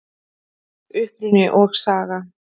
Uppruni og saga